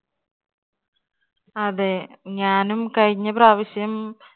അതെ ഞാനും കഴിഞ്ഞ പ്രാവശ്യം